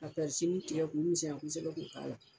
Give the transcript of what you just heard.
Ka tigɛ k'o misɛnya kosɛbɛ k'o k'a la